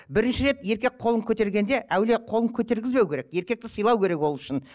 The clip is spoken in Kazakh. бірінші рет еркек қолын көтергенде әуелі қолын көтергізбеу керек еркекті сыйлау керек ол үшін